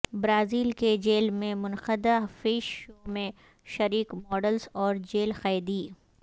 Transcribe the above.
Brazil کے jail میں منقدہ فیش شو میں شریک ماڈلز اور جیل قیدی